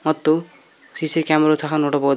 ಮತ್ತು CC camera ವು ಸಹ ನೋಡಬೋದ್ --